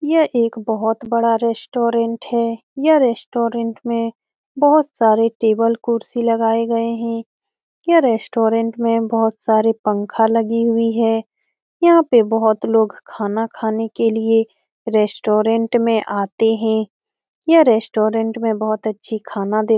यह एक बहुत बड़ा रेस्ट्रोरेंट है यह रेस्ट्रोरेंट में बहुत सारे टेबल कुर्सी लगाये गये है यह रेस्ट्रोरेंट मे बहुत सारे पंखा लगी हुई है यहाँ पे बहुत लोग खाना खाने के लिए रेस्ट्रोरेंट में आते है यह रेस्ट्रोरेंट में बहुत अच्छी खाना दे --